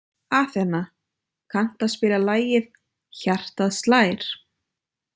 Athena, kanntu að spila lagið „Hjartað slær“?